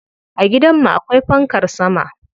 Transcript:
A gidan mu akwai fankar sama.